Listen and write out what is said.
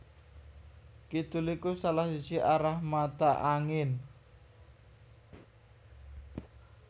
Kidul iku salah siji arah mata angin